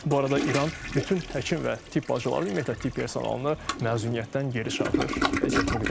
Bu arada İran bütün həkim və tibb bacıları, ümumiyyətlə tibb personalını məzuniyyətdən geri çağırır.